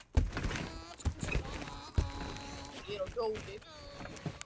Um kvöldið safnaðist fólk á ný í Miðbænum, aðallega í Austurstræti og Pósthússtræti.